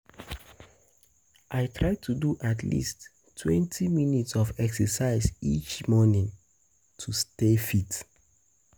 I try to do um at leasttwentyminutes of exercise each morning to stay fit.